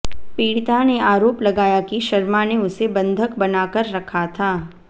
पीडिता ने आरोप लगाया कि शर्मा ने उसे बंधक बनाकर रखा था